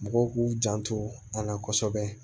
Mɔgɔw k'u janto a la kosɛbɛ